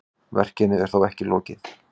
Verkinu er þó ekki lokið.